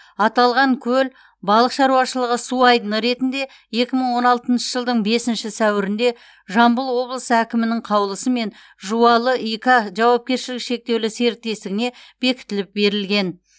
аталған көл балық шаруашылығы су айдыны ретінде екі мың он алтыншы жылдың бесінші сәуірінде жамбыл облысы әкімінің қаулысымен жуалы и к жауапкершілігі шектеулі серіктестігіне бекітіліп берілген